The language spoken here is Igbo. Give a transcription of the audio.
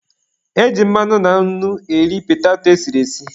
E ji mmanụ na nnu eri petato e siri esi.